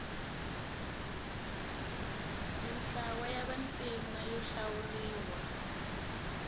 mintlawa ya vantima yo hlawuriwa